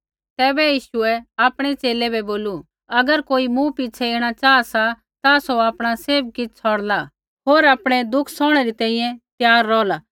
तैबै यीशुऐ आपणै च़ेले बै बोलू अगर कोई मूँ पिछ़ै ऐणा चाहा सा ता सौ आपणा सैभ किछ़ छ़ौड़ला होर आपणै दुख सौहणै री तैंईंयैं त्यार रौहला